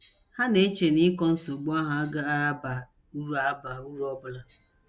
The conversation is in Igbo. Ha na - eche na ịkọ nsogbu ahụ agaghị aba uru aba uru ọ bụla.